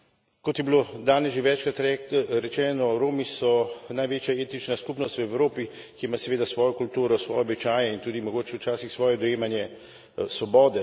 Kot je bilo danes že večkrat rečeno, Romi so največja etnična skupnost v Evropi, ki ima seveda svojo kulturo, svoje običaje in tudi mogoče včasih svoje dojemanje svobode.